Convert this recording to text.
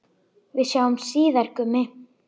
Við sjáumst síðar, Gummi.